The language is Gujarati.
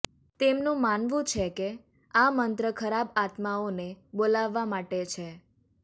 તેમનુ માનવુ છે કે આ મંત્ર ખરાબ આત્માઓને બોલાવવા માટે છે